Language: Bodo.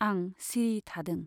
आं सिरि थादों।